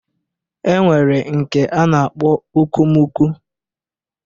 E nwere nke a na-akp okomoko